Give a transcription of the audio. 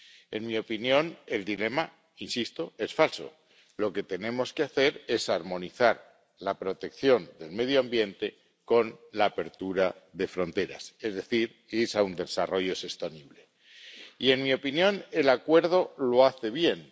En mi opinión, el dilema ―insisto― es falso. Lo que tenemos que hacer es armonizar la protección del medio ambiente con la apertura de fronteras. Es decir, ir a un desarrollo sostenible. Y, en mi opinión, el Acuerdo lo hace bien.